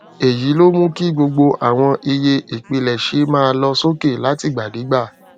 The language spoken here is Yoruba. èyí ló mú kí gbogbo àwọn iye ìpilẹṣẹ máa lọ sókè látìgbàdégbà